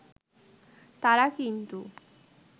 তারা কিন্তু